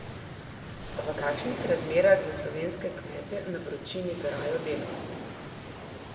V kakšnih razmerah za slovenske kmete na vročini garajo delavci?